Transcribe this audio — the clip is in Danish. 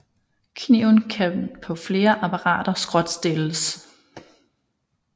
Kniven kan på flere apparater skråtstilles